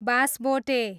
Basabote